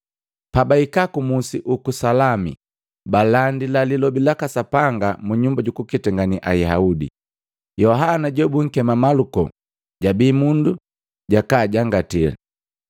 Pabahika ku Musi uku Salami, balandi lilobi laka Sapanga munyumba jukuketangane Ayaudi. Yohana jobunkema Maluko jabi mundu jakaajangati.